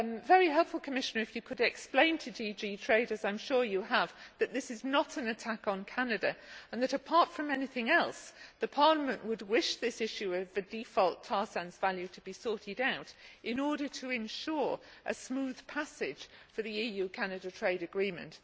be very helpful, Commissioner, if you could explain to DG Trade, as I am sure you have, that this is not an attack on Canada, and that apart from anything else, Parliament would want this issue of the default tar sands value to be sorted out in order to ensure a smooth passage for the EU Canada trade agreement.